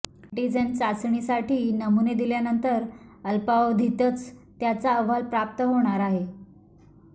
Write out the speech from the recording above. antigen चाचणीसाठी नमुने दिल्यानंतर अल्पावधीतच त्याचा अहवाल प्राप्त होणार आहे